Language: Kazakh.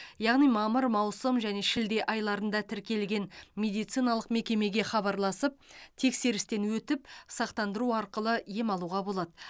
яғни мамыр маусым және шілде айларында тіркелген медициналық мекемеге хабарласып тексерістен өтіп сақтандыру арқылы ем алуға болады